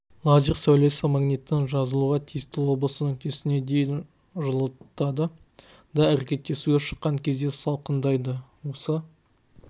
лазер сәулесі магниттің жазылуға тиісті облысы нүктесіне дейін жылытады да әрекеттесуге шыққан кезде салқындайды осы